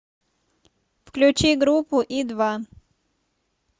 включи группу и два